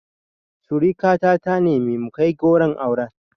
Surika ta ta nemi mu kai goron auren